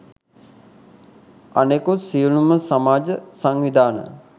අනෙකුත් සියළුම සමාජ සංවිධාන